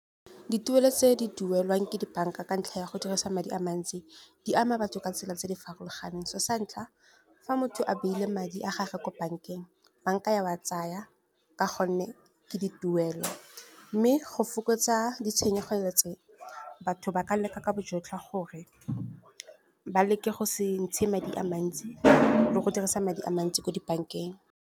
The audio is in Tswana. Dituelo tse di duelwang ke di-bank-a ka ntlha ya go dirisa madi a mants, i di ama batho ka tsela tse di farologaneng. So sa ntlha fa motho a beile madi a gage ko bank-eng, bank-a ya wa tsaya, ka gonne ke dituelo. Mme go fokotsa ditshenyegelo tse, batho ba ka leka ka bojotlhe gore ba leke go se ntshe madi a mantsi, le go dirisa madi a mantsi ko di-bank-eng.